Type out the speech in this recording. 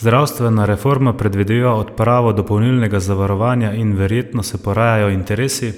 Zdravstvena reforma predvideva odpravo dopolnilnega zavarovanja in verjetno se porajajo interesi,